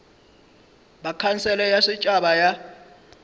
ba khansele ya setšhaba ya